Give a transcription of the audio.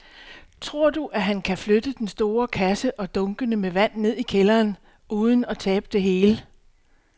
Tror du, at han kan flytte den store kasse og dunkene med vand ned i kælderen uden at tabe det hele?